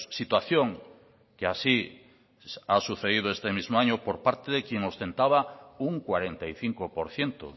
situación que así ha sucedido este mismo año por parte de quien ostentaba un cuarenta y cinco por ciento